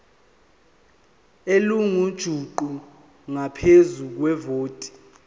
elingujuqu ngaphezu kwevoti